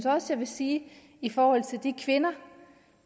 også sige i forhold til de kvinder